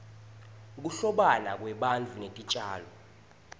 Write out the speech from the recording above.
kuhlobana kwebantfu netitjalo